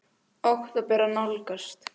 Október að nálgast.